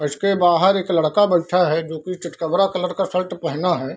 उसके बाहर एक लड़का बैठा है जो की चितकबरा कलर का शर्ट पहना है।